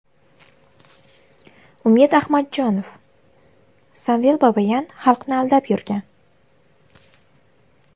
Umid Ahmadjonov: Samvel Babayan xalqni aldab yurgan.